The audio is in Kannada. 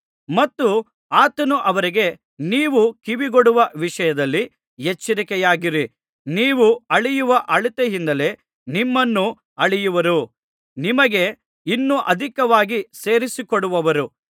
ಮತ್ತು ಆತನು ಅವರಿಗೆ ನೀವು ಕಿವಿಗೊಡುವ ವಿಷಯದಲ್ಲಿ ಎಚ್ಚರಿಕೆಯಾಗಿರಿ ನೀವು ಅಳೆಯುವ ಅಳತೆಯಿಂದಲೇ ನಿಮ್ಮನ್ನೂ ಅಳೆಯುವರು ನಿಮಗೆ ಇನ್ನೂ ಅಧಿಕವಾಗಿ ಸೇರಿಸಿಕೊಡುವರು